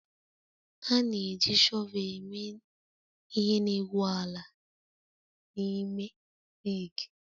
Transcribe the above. A na-eji shọvel eme ihe n'egwu ala na ime rigi